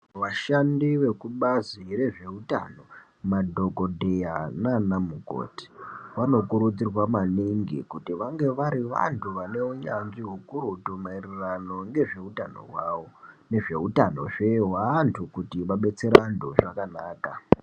Vashandi vekubazi rezveutano madhokodheya nana mukoti vanokurudzirwa maningi kuti vange vari vantu vane unyanzvi ukurutu maererano nezveutano hwawo nezveutano zve hweantu kuti vadetsere antu zvakanaka.